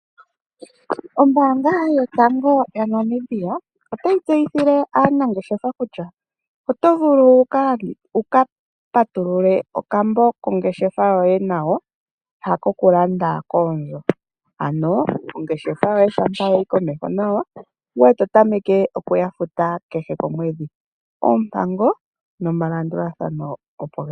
Ombaanga yotango yaNamibia otayi tseyithile aanangeshefa kutya oto vulu wu ka patulule okambo kongeshefa yoye nayo ha kokulanda koondjo. Ano oongeshefa yoye shampa yayi komeho, nawa ngoye to tameke okuya futa kehe komwedhi. Oompango nomalandulathano opo geli.